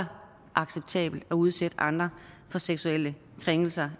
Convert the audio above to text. acceptabelt at udsætte andre for seksuelle krænkelser